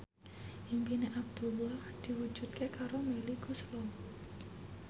impine Abdullah diwujudke karo Melly Goeslaw